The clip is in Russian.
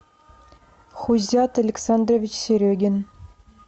хузят александрович серегин